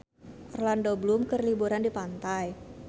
Orlando Bloom keur liburan di pantai